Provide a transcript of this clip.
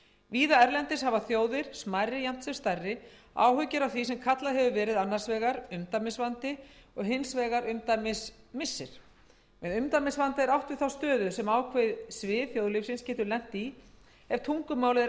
víða erlendis hafa þjóðir smærri jafnt sem stærri áhyggjur af því sem kallað hefur verið annars vegar umdæmisvandi og hins vegar umdæmismissir með umdæmisvanda er átt við þá stöðu sem ákveðið svið þjóðlífsins getur lent í ef tungumálið er